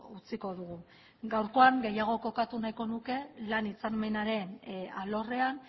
utziko dugu gaurkoan gehiago kokatu nahiko nuke lan hitzarmenaren alorrean